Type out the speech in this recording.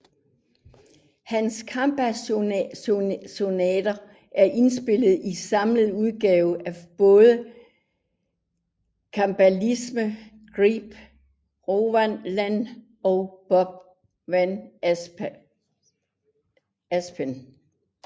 Hans cembalosonater er indspillet i samlet udgave af både cembalisterne Gilbert Rowland og Bob van Asperen